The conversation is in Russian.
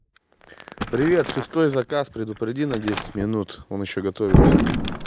привет шестой заказ предупреди на десять минут он ещё готовиться